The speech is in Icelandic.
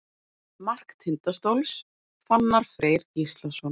Mark Tindastóls: Fannar Freyr Gíslason.